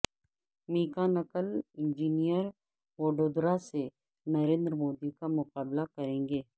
mechanical engineer Vadodara سے نریندر مودی کا مقابلہ کرینگے